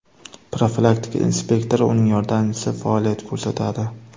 Profilaktika inspektori, uning yordamchisi faoliyat ko‘rsatadi.